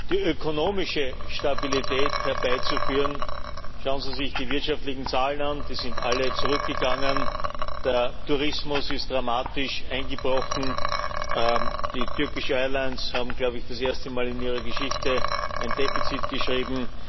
die ökonomische Stabilität herbeizuführen schauen Sie sich die wirtschaftlichen Zahlen an Die sind alle zurückgegangen, der Tourismus ist dramatisch eingebrochen, die Turkish Airlines haben, glaube ich, das erste Mal in ihrer Geschichte ein Defizit geschrieben.